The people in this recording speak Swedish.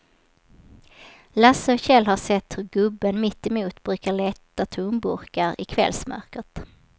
Lasse och Kjell har sett hur gubben mittemot brukar leta tomburkar i kvällsmörkret.